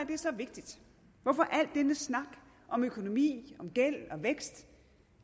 det så vigtigt hvorfor al denne snak om økonomi om gæld og vækst